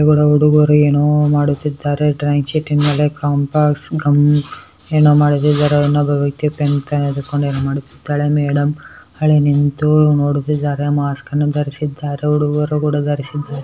ಹುಡುಗರು ಏನೋ ಮಾಡುತ್ತಿದ್ದಾರೆ. ಡ್ರಾಯಿಂಗ್ ಶೀಟಿನ್ ಮೇಲೆ ಕಾಂಪಾಸ್ ಗಮ್ ಏನೋ ಮಾಡುತ್ತಿದ್ದಾರೆ. ಇನ್ನೊಬ್ಬ ವ್ಯಕ್ತಿ ಪೆನ್ ತೆಗೆದುಕೊಂಡು ಏನೋ ಮಾಡುತ್ತಿದ್ದಾಳೆ. ಮೇಡಂ ಆಕಡೆ ನಿಂತು ನೋಡುತ್ತಿದ್ದಾರೆ ಮಾಸ್ಕ್ ಅನ್ನು ಧರಿಸಿದ್ದಾರೆ. ಹುಡುಗರು ಕೂಡ ಧರಿಸಿದ್ದಾರೆ.